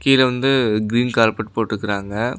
கீழ வந்து green carpet போட்ருக்கறாங்க.